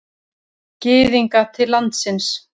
Gyðinga til landsins.